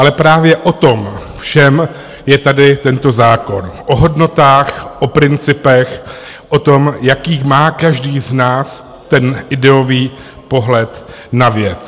Ale právě o tom všem je tady tento zákon - o hodnotách, o principech, o tom, jaký má každý z nás ten ideový pohled na věc.